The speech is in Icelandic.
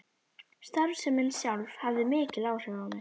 Starfsemin sjálf hafði mikil áhrif á mig.